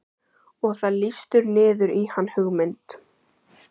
Og það lýstur niður í hann hugmynd